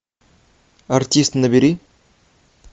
артист набери